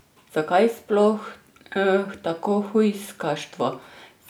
Zakaj sploh tako hujskaštvo?